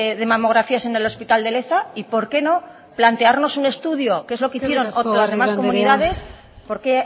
de mamografías en el hospital de leza y por qué no plantearnos un estudio que es lo que hicieron las demás comunidades por qué